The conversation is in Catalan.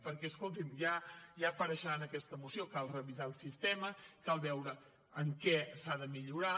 perquè escolti’m ja apareixerà en aquesta moció cal revisar el sistema cal veure en què s’ha de millorar